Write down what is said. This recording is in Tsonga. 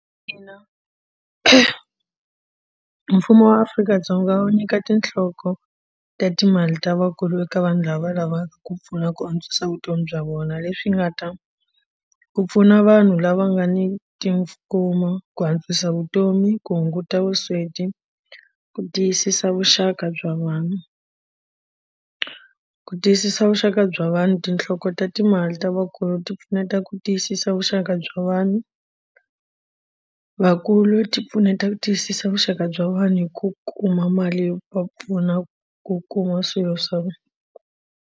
Ina, mfumo wa Afrika-Dzonga wu nyika tinhloko ta timali ta vakulu eka vanhu lava lavaka ku pfuna ku antswisa vutomi bya vona leswi nga ta ku pfuna vanhu lava nga ni tikuma ku antswisa vutomi ku hunguta vusweti ku tiyisisa vuxaka bya vanhu ku tiyisisa vuxaka bya vanhu tinhloko ta ta timali ta vakulu ti pfuneta ku tiyisisa vuxaka bya vanhu vakulu ti pfuneta ku tiyisisa vuxaka bya vanhu hi ku kuma mali yo va pfuna ku kuma swilo swa vona.